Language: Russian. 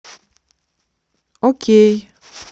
окей